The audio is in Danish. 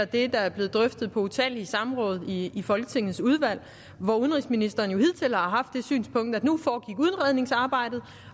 det der er blevet drøftet på utallige samråd i folketingets udvalg hvor udenrigsministeren jo hidtil har haft det synspunkt at nu foregik udredningsarbejdet